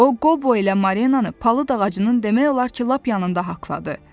O Qobo ilə Marlenanı palıd ağacının demək olar ki, lap yanında haqladı.